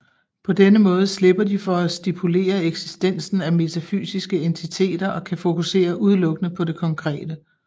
På denne måde slipper de for at stipulere eksistensen af metafysiske entiteter og kan fokusere udelukkende på det konkrete